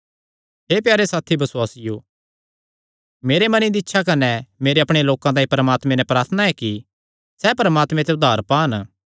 हे प्यारे साथी बसुआसियो मेरे मने दी इच्छा कने मेरे अपणे लोकां तांई परमात्मे नैं मेरी प्रार्थना ऐ कि सैह़ परमात्मे ते उद्धार पान